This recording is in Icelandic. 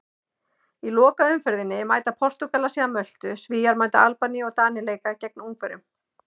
Í lokaumferðinni mæta Portúgalar síðan Möltu, Svíar mæta Albaníu og Danir leika gegn Ungverjum.